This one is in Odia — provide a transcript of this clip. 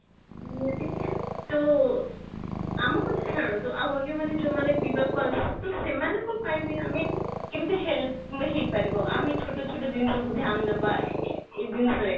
ନିହତ, ତ ଆମ କଥା ଛାଡନ୍ତୁ ଆଉ ଅନ୍ୟ ମାନେ ଯୋଉ ମାନେ ପିଇବାକୁ ସେମାନଙ୍କ ପାଇଁ ବି ଆମେ କେମିତି help ହେଇ ପାରିବ ଆମେ ଛୋଟ ଛୋଟ ଜିନିଷ କୁ ଧ୍ୟାନ ଦେବା ଏଇ ଜିନିଷରେ